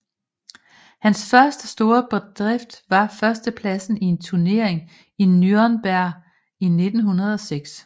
Hans første store bedrift var førstepladsen i en turnering i Nürnberg i 1906